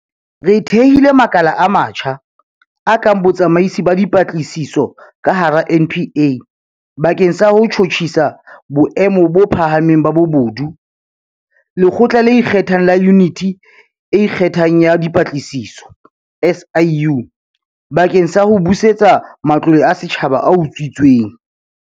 Re thehile makala a matjha, a kang Botsamaisi ba Dipatlisiso ka hara NPA bakeng sa ho tjhutjhisa boemo bo phahameng ba bobodu, Lekgotla le Ikgethang la Yuniti e Ikgethang ya Dipatlisiso, SIU, bakeng sa ho busetsa matlole a setjhaba a utswitsweng.